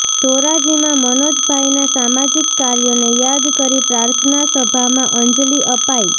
ધોરાજીમાં મનોજભાઈના સામાજિક કાર્યોને યાદ કરી પ્રાર્થનાસભામાં અંજલિ અપાઈ